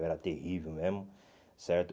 Eu era terrível mesmo, certo?